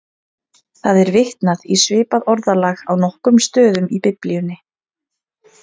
Það er vitnað í svipað orðalag á nokkrum stöðum í Biblíunni.